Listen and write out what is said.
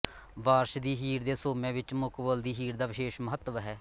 ਵਾਰਿਸ ਦੀ ਹੀਰ ਦੇ ਸੋਮਿਆਂ ਵਿੱਚ ਮੁਕਬਲ ਦੀ ਹੀਰ ਦਾ ਵਿਸ਼ੇਸ਼ ਮਹੱਤਵ ਹੈ